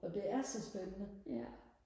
og det er så spændende